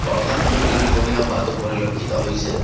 পৰঠা সমূহ তিনিকোণীয়া হোৱাতো পৰিলক্ষিত হৈছে।